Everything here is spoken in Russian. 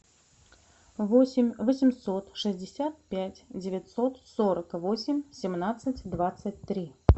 восемь восемьсот шестьдесят пять девятьсот сорок восемь семнадцать двадцать три